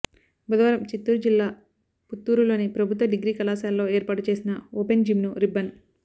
బుధవారం చిత్తురు జిల్లా పుత్తూరులోని ప్రభుత్వ డిగ్రీ కళాశాలలో ఏర్పాటు చేసిన ఓపెన్ జిమ్ను రిబ్బన్